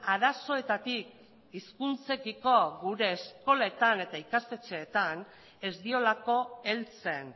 arazoetatik hizkuntzekiko gure eskoletan eta ikastetxeetan ez diolako heltzen